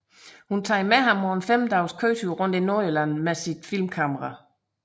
Hun tager med ham på en 5 dages køretur rundt i Nordjylland med sit filmkamera